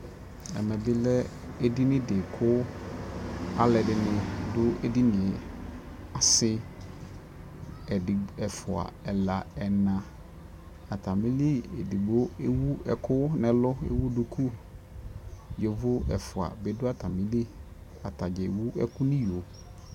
ɛmɛ bi lɛ ɛdini di kʋ alʋɛdini dʋ ɛdiniɛ, asii ɛdigbɔ, ɛƒʋa ,ɛla, ɛna, atamili ɛdigbɔ ɛwʋ ɛkʋ nʋ ɛlʋ kʋ ɛwʋ dʋkʋ, yɔvɔ ɛƒʋa dibi dʋ atamili atagya ɛwʋ ɛkʋ nʋiyɔɔ